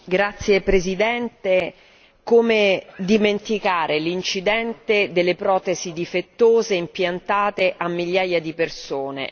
Signora Presidente, come dimenticare l'incidente delle protesi difettose impiantate a migliaia di persone?